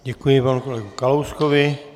Děkuji panu kolegovi Kalouskovi.